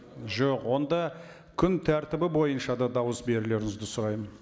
жоқ онда күн тәртібі бойынша да дауыс берулеріңізді сұраймын